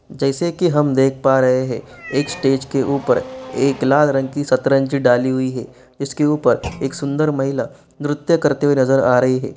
जैसे की हम देख पा रहे हैं एक स्टेज के ऊपर एक लाल रंग की सतरंज डाली हुई है जिसके ऊपर एक सुंदर महिला नृत्य करते हुए नजर आ रही है।